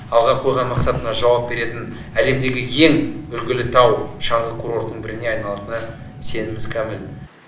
алға қойған мақсатына жауап беретін әлемдегі ең үлгілі тау шаңғы курортының біріне айналатынына сеніміміз кәміл